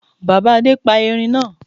Bàbá Adé pa Erin náa